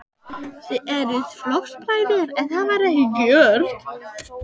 Þið eruð flokksbræður, en það var ekki gert?